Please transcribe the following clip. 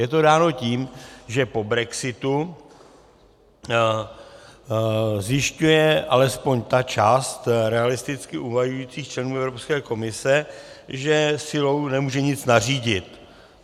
Je to dáno tím, že po brexitu zjišťuje alespoň ta část realisticky uvažujících členů Evropské komise, že silou nemůže nic nařídit.